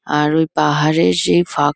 আর ওই পাহাড়ে সেই ফাঁক--